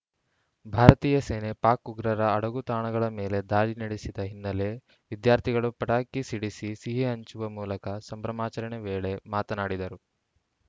ಭಾರತೀಯ ಸೇನೆ ಪಾಕ್‌ ಉಗ್ರರ ಅಡಗುತಾಣಗಳ ಮೇಲೆ ದಾಳಿ ನಡೆಸಿದ ಹಿನ್ನೆಲೆ ವಿದ್ಯಾರ್ಥಿಗಳು ಪಟಾಕಿ ಸಿಡಿಸಿ ಸಿಹಿ ಹಂಚುವ ಮೂಲಕ ಸಂಭ್ರಮಾಚರಣೆ ವೇಳೆ ಮಾತನಾಡಿದರು